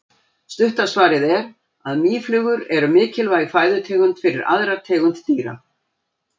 Stutta svarið er að mýflugur eru mikilvæg fæðutegund fyrir aðrar tegundir dýra.